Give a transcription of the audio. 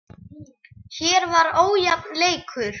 Hér var ójafn leikur.